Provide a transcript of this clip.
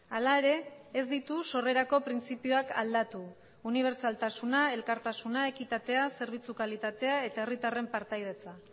hala ere ez ditu sorrerako printzipioak aldatu unibertsaltasuna elkartasuna ekitatea zerbitzu kalitatea eta herritarren partaidetza